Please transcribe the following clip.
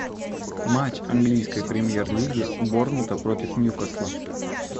матч английской премьер лиги борнмута против ньюкасла